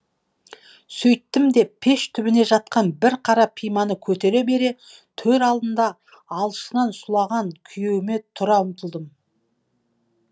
сөйттім де пеш түбінде жатқан бір қара пиманы көтере бере төр алдында алшысынан сұлаған күйеуіме тұра ұмтылдым